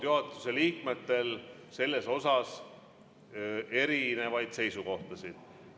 Juhatuse liikmetel on olnud selles osas erinevaid seisukohtasid.